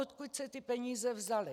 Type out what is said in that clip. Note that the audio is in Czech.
Odkud se ty peníze vzaly?